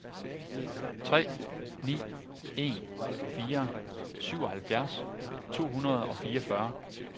tre ni en fire syvoghalvfjerds to hundrede og fireogfyrre